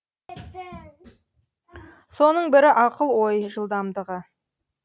соның бірі ақыл ой жылдамдығы